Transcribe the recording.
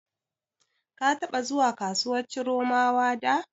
Ka taɓa zuwa kasuwar Chiromawa da?